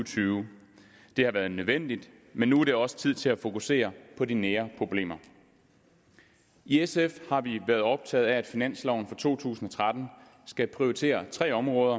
tyve det har været nødvendigt men nu er det også tid til at fokusere på de nære problemer i sf har vi været optaget af at finansloven for to tusind og tretten skal prioritere tre områder